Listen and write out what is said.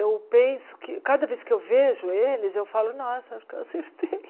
Eu penso que, cada vez que eu vejo eles, eu falo, nossa, acho que eu acertei.